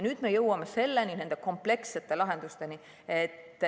Nüüd me jõuame nende komplekssete lahendusteni.